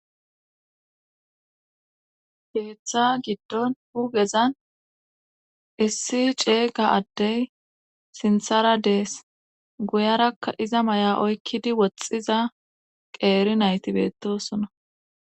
Geeththa giddon hugezan issi ceega addey sinthara dees guyarakka iza may'a oykkidi woxxiza qeeri naytibeettosona.